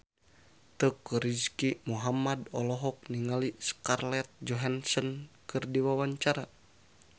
Teuku Rizky Muhammad olohok ningali Scarlett Johansson keur diwawancara